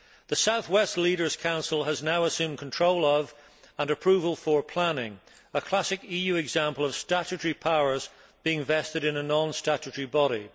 The South West Leaders' Council has now assumed control of, and approval for, planning a classic EU example of statutory powers being vested in a non statutory body.